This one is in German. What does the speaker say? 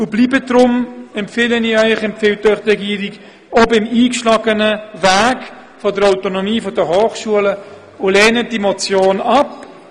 Die Regierung und auch ich empfehlen Ihnen deshalb, nun auch beim eingeschlagenen Weg der Autonomie der Hochschulen zu bleiben und die Motion abzulehnen.